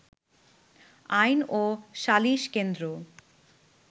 আইন ও শালিশ কেন্দ্র